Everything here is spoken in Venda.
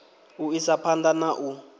u isa phanḓa na u